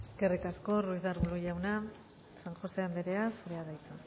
eskerrik asko ruiz de arbulo jauna san josé anderea zurea da hitza